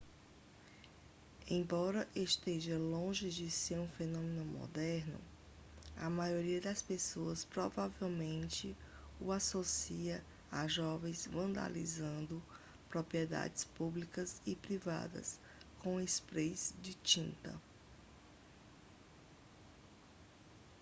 embora esteja longe de ser um fenômeno moderno a maioria das pessoas provavelmente o associa a jovens vandalizando propriedades públicas e privadas com sprays de tinta